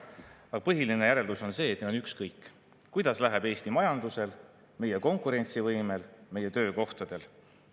Aga põhiline järeldus on see, et neil on ükskõik, kuidas läheb Eesti majandusel, meie konkurentsivõimel ja meie töökohtadel.